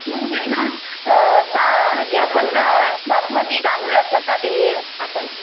नंतर ना जे आपण बासमती तांदूळ असतात ना ते आपण